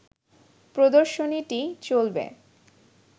প্রদর্শনীটি চলবে